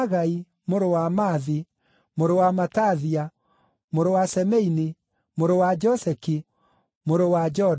mũrũ wa Maathi, mũrũ wa Matathia, mũrũ wa Semeini, mũrũ wa Joseki, mũrũ wa Joda,